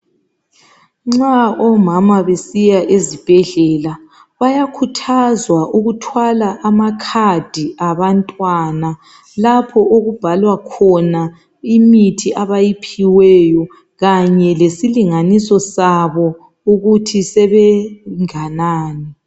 Nxa omama besiya ezibhedlela bayakhuthazwa ukuthwala amakhadi abantwana lapho okubhalwa khona imithi abayiphiweyo Kanye lesilinganiso sabo ukuthi sebenganani